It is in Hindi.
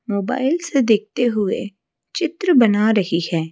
मोबाइल से देखते हुए चित्र बना रही है।